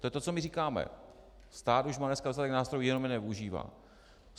To je to, co my říkáme: Stát už má dneska dostatek nástrojů, jenom je nevyužívá.